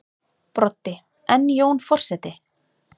Broddi: En Jón forseti?